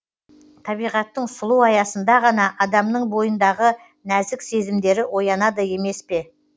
табиғаттың сұлу аясында ғана адамның бойындағы нәзік сезімдері оянады емес пе